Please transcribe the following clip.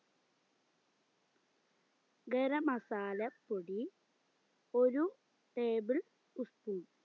ഗരമസാല പൊടി ഒര് table spoon